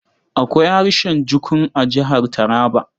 Akwai harshen Jukun a Jihar Taraba.